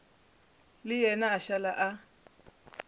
le yena a šala a